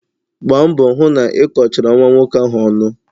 Gbaa mbọ hụ na ị kọchara nwa nwoke ahụ ọnụ!